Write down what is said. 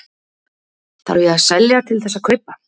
Þarf ég að selja til þess að kaupa?